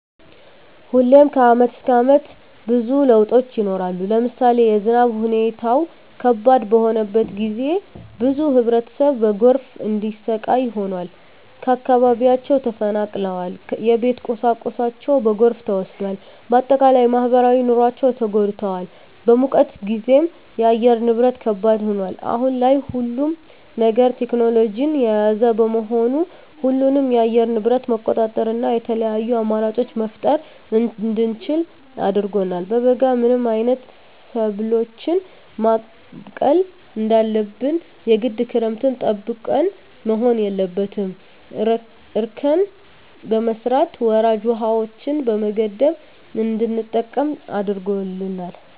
ሁሌም ከአመት እስከ አመት ብዙ ለውጦች ይኖራሉ። ለምሳሌ የዝናብ ሁኔታው ከባድ በሆነበት ጊዜ ብዙ ህብረተሰብ በጎርፍ እንዲሰቃይ ሆኗል። ከአካባቢያቸው ተፈናቅለዋል የቤት ቁሳቁሳቸው በጎርፍ ተወስዷል። በአጠቃላይ በማህበራዊ ኑሯቸው ተጎድተዋል። በሙቀት ጊዜም የአየር ንብረት ከባድ ይሆናል። አሁን ላይ ሁሉም ነገር ቴክኖሎጅን የያዘ በመሆኑ ሁሉንም የአየር ንብረት መቆጣጠር እና የተለያዪ አማራጮች መፍጠር እንድንችል አድርጎናል። በበጋ ምን አይነት ሰብሎችን ማብቀል እንዳለብን የግድ ክረምትን ጠብቀን መሆን የለበትም እርከን በመስራት ወራጅ ውሀዎችን በመገደብ እንድንጠቀም አድርጎናል።